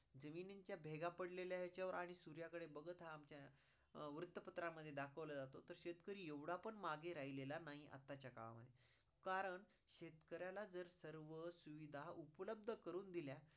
जमिनीच्या भेगा पडलेल्या ह्याच्यावर आणि सुर्या कडे बगत हा आमच्या अं वृत्तपत्रात दाखवला जातो. तर शेतकरी एवढा पण मागे राहिलेला नाही आताच्या काळा मध्ये कारण शेतकऱ्याला जर सर्व सुविधा उपलब्द करून दिल्या